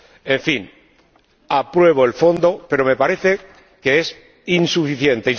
En fin, apruebo el fondo, pero me parece que es insuficiente.